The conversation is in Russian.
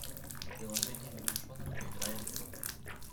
приложение лягушонок поиграем в